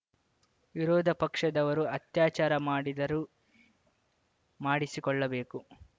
ವಿರೋಧ ಪಕ್ಷದವರು ಅತ್ಯಾಚಾರ ಮಾಡಿದರೂ ಮಾಡಿಸಿಕೊಳ್ಳಬೇಕು